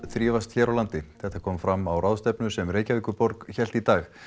þrífast hér á landi þetta kom fram á ráðstefnu sem Reykjavíkurborg hélt í dag